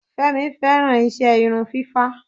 Fẹ́mi fẹ́ràn iṣẹ́ irun fífá.